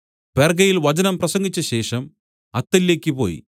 പെർഗ്ഗയിൽ വചനം പ്രസംഗിച്ചശേഷം അത്തല്യയ്ക്ക് പോയി